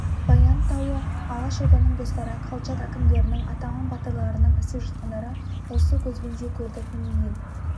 баян тауы алашорданың достары колчак әкімдерінің атаман батырларының істеп жатқандары осы көзбен де көрдік міне ел